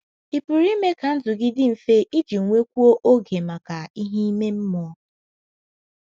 Ị̀ pụrụ ime ka ndụ gị dị mfe iji nwekwuo oge maka ihe ime mmụọ?